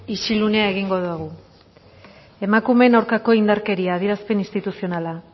isilunea egingo dugu emakumeen aurkako indarkeria adierazpen instituzionala